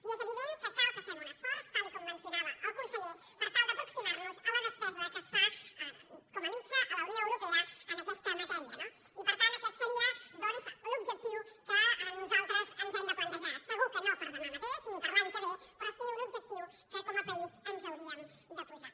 i és evident que cal que fem un esforç tal com mencionava el conseller per tal d’aproximar nos a la despesa que es fa com a mitjana a la unió europea en aquesta matèria no i per tant aquest seria doncs l’objectiu que nosaltres ens hem de plantejar segur que no per a demà mateix ni per a l’any que ve però sí un objectiu que com a país ens hauríem de posar